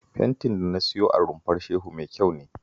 Fentin da na siyo a Rumfar Shehu mai kyau ne